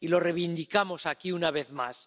Y lo reivindicamos aquí, una vez más.